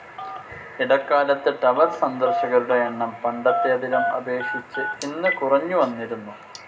ഇടക്കാലത്ത് ടവർ സന്ദർശകരുടെ എണ്ണം പണ്ടത്തേതിലും അപേക്ഷിച്ച് ഇന്ന് കുറഞ്ഞുവന്നിരുന്നു.